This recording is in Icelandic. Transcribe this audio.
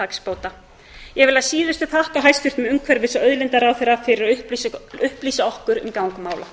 hagsbóta ég vil að síðustu þakka hæstvirtum umhverfis og auðlindaráðherra fyrir að upplýsa okkur um gang mála